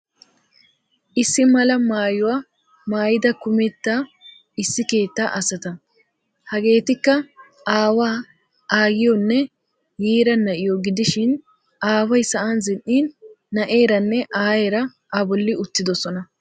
Issi mala maayuwaa maayida kumetta issi keettaa asata. Hegeetikka aawaa, aayyiyoonne yiira na'yoo gidishin aawayi sa'an zin'in na'eeranne aayeera abolli uttidosona.